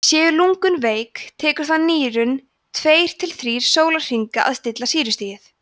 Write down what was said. séu lungun veik tekur það nýrun tveir til þrír sólarhringa að stilla sýrustigið